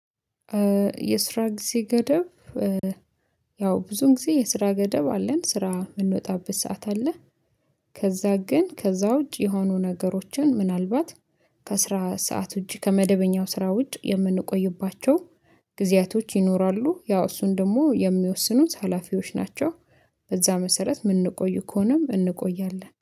የስራ ጊዜ ገደብ ያው ብዙን ጊዜ የስራ ገደብ አለን ስራ የምንወጣበት ሰዓት አለ። ከዛ ግን ከዛ ውጪ የሆኑ ነገሮችን ምናልባት ከአስራ ሰዓት ውጪ ከመደበኛው ስራ ውጭ የምንቆይባቸው ጊዜያቶች ይኖራሉ። ያው እሱን ደግሞ የሚወስኑት ሀላፊዎች ናቸው። በዛ መሰረት የምንቆዩ ከሆነም እንቆያለን